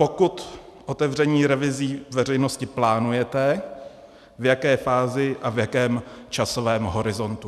Pokud otevřením revizí veřejnosti plánujete, v jaké fázi a v jakém časovém horizontu.